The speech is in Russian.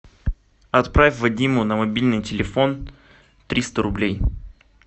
отправь вадиму на мобильный телефон триста рублей